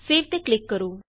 save ਤੇ click ਕਰੋ